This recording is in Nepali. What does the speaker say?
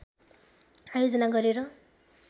आयोजना गरेर